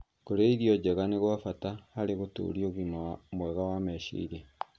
Kũrĩa irio njega nĩ kwa bata harĩ gũtũũria ũgima mwega wa meciria.